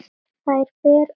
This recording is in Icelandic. Þær ber að þakka.